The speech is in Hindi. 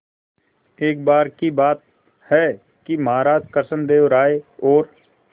एक बार की बात है कि महाराज कृष्णदेव राय और